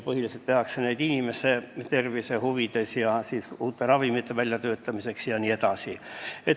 Põhiliselt tehakse katseid inimese tervise huvides, uute ravimite väljatöötamiseks jne.